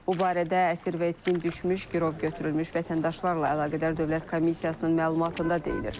Bu barədə əsir və itkin düşmüş girov götürülmüş vətəndaşlarla əlaqədar Dövlət Komissiyasının məlumatında deyilir.